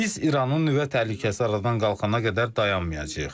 Biz İranın nüvə təhlükəsi aradan qalxana qədər dayanmayacağıq.